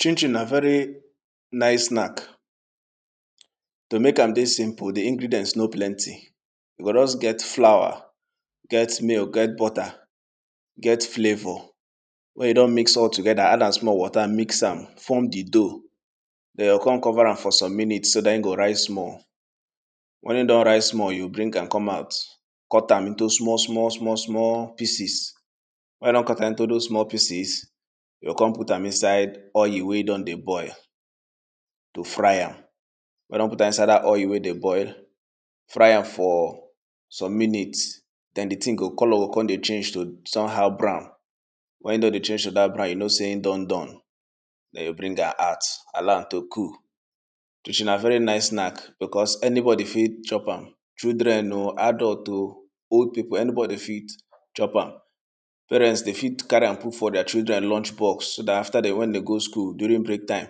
Chin chin na very nice snack, to mek am dey simple di ingredient no plenty, you go just get flour, get milk, get butter, get flavor when you don miss all together, add am small water mix am, form di dough den yoh con cover am for some minute, so dat in go rise small, when in don rise small, you go bring am come out, cut am into small, small, small, small pieces, when you don cut am into dose small pieces, yoh con put am inside oil wey don dey boil to fry am, when you don put am inside dat oil wey dey boil, fry am for some minute, den di thing go colour go con dey change to some how brown, when e don dey change to dat brown you know sey in don done, den yoh bring am out allow am to cool. Chin chin na very nice snack because anybody fit chop am, children o, adult o, old pipo anybody fit chop am, parent de fit carry am put for deir children lunch box so dat after de, when de go school during break time,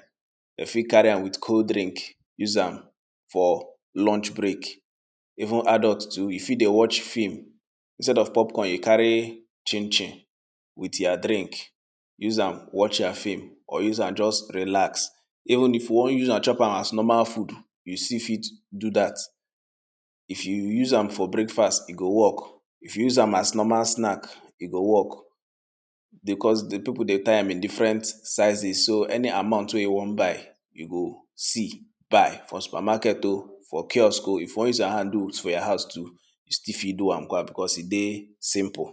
de fit carry am with cold drink use am for lunch break, even adult too you fit dey watch film, instead of pop corn, you carry chin chin with ya drink, use am watch your film, or use am just relax, even if you wan use am chop am as normal food, you still fit do dat. If you use am for breakfast e go work, if you use am as normal snack e go work because di pipu dey tie am in different sizes, so any amount wey you wan buy you go see buy for supermarket o, for kiosk o, if you wan use your hand do for your house too, you still fit do am because e dey simple.